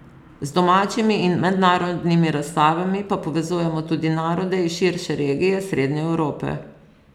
Z domačimi in mednarodnimi razstavami pa povezujemo tudi narode iz širše regije srednje Evrope.